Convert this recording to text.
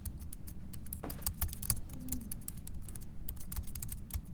афонине